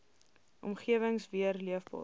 omgewings weer leefbaar